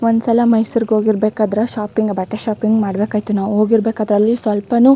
ಒಂದ್ ಸಲ ಮೈಸೂರ್ ಹೋಗಿ ಇರಬೇಕಾದ್ರೆ ಶಾಪಿಂಗ್ ಬಟ್ಟೆ ಶಾಪಿಂಗ್ ಮಾಡಬೇಕಾಯತ್ತು ನಾವು ಹೋಗಿ ಇರಬೇಕಾದ್ರೆ ಅಲ್ಲಿ ಸ್ವಲ್ಪನು --